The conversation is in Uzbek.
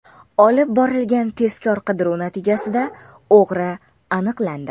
Olib borilgan tezkor-qidiruv natijasida o‘g‘ri aniqlandi.